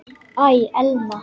Æ, Elma.